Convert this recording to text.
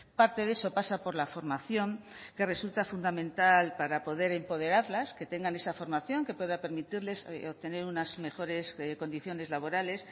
parte de eso pasa por la formación que resulta fundamental para poder empoderarlas que tengan esa formación que pueda permitirles obtener unas mejores condiciones laborales